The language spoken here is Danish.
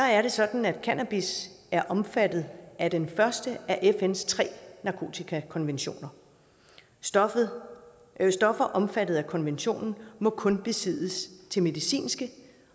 er sådan at cannabis er omfattet af den første af fns tre narkotikakonventioner stoffer stoffer omfattet af konventionen må kun besiddes til medicinske